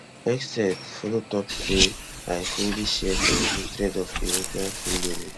hegseth follow tok say i fully share for your hatred of european freeloading